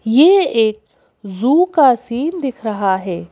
यह एक ज़ू का सीन दिख रहा है।